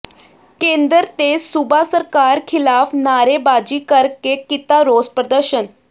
ਕੇਂਦਰ ਤੇ ਸੂਬਾ ਸਰਕਾਰ ਖਿਲਾਫ ਨਾਅਰੇਬਾਜ਼ੀ ਕਰਕੇ ਕੀਤਾ ਰੋਸ ਪ੍ਰਦਰਸ਼ਨ